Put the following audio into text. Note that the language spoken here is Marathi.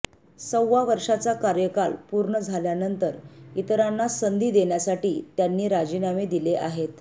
सव्वा वर्षाचा कार्यकाल पूर्ण झाल्यानंतर इतरांना संधी देण्यासाठी त्यांनी राजीनामे दिले आहेत